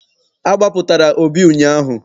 A gbapụtara Obi ụnyaahụ.